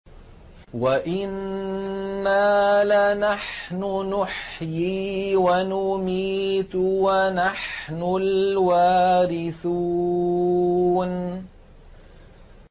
وَإِنَّا لَنَحْنُ نُحْيِي وَنُمِيتُ وَنَحْنُ الْوَارِثُونَ